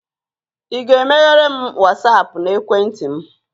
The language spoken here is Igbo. ị ga-emeghere m Wasapụ na ekwentị m?